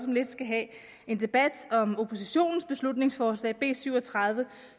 lidt skal have en debat om oppositionens beslutningsforslag b syv og tredive